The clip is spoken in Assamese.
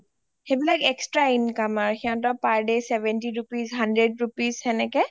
সেইবিলাক extra income আৰু হিহঁতৰ per day seventy rupees hundred rupees সেনেকে